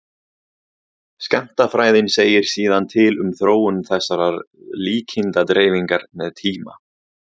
skammtafræðin segir síðan til um þróun þessarar líkindadreifingar með tíma